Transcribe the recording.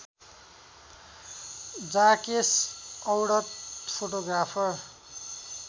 जाकेस Audet photographer